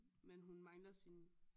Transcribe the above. Men hun mangler sin